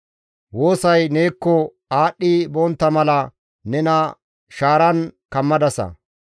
Woosay neekko aadhdhi bontta mala nena shaaran kammadasa.